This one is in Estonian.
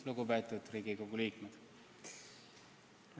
Lugupeetud Riigikogu liikmed!